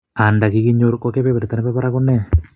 Anda kikinyor ko kebeberta nebo barak kone?